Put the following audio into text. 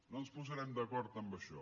no ens posarem d’acord en això